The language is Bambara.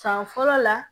San fɔlɔ la